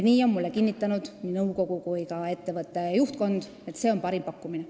Mulle on kinnitanud nii nõukogu kui ka ettevõtte juhtkond, et see on parim pakkumine.